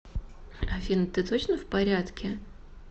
афина ты точно в порядке